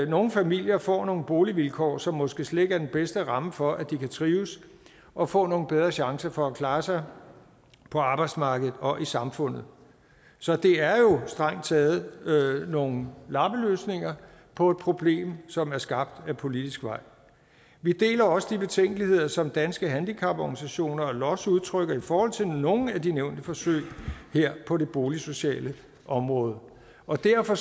nogle familier får nogle boligvilkår som måske slet ikke er den bedste ramme for at de kan trives og få nogle bedre chancer for at klare sig på arbejdsmarkedet og i samfundet så det er jo strengt taget nogle lappeløsninger på et problem som er skabt ad politisk vej vi deler også de betænkeligheder som danske handicaporganisationer og los udtrykker i forhold til nogle af de nævnte forsøg på det boligsociale område og derfor